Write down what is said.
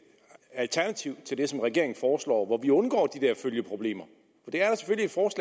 alternativ til det som regeringen foreslår og hvor vi undgår de der følgeproblemer det